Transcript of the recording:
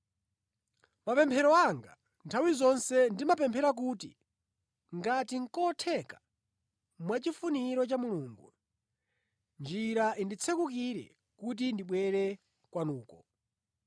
Mʼmapemphero anga, nthawi zonse, ndimapemphera kuti ngati nʼkotheka mwachifuniro cha Mulungu, njira inditsekukire kuti ndibwere kwanuko.